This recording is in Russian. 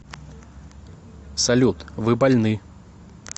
салют вы больны